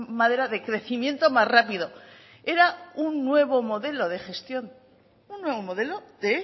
madera de crecimiento más rápido era un nuevo modelo de gestión un nuevo modelo de